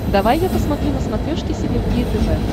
давай я посмотрю на смотрешке синергия тв